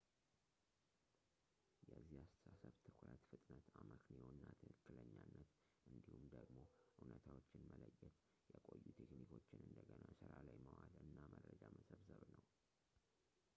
የዚህ አስተሳሰብ ትኩረት ፍጥነት አመክንዮ እና ትክክለኛነት እንዲሁም ደግሞ እውነታዎችን መለየት የቆዩ ቴክኒኮችን እንደገና ስራ ላይ ማዋል እና መረጃ መሰብሰብ ነው